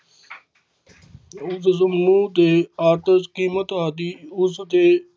ਉਸ ਸਮੂਹ ਦੇ ਆਤਸ਼ ਕੀਮਤ ਆਦਿ ਉਸ ਦੇ